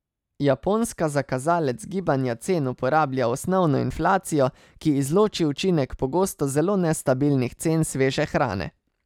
Japonska za kazalec gibanja cen uporablja osnovno inflacijo, ki izloči učinek pogosto zelo nestabilnih cen sveže hrane.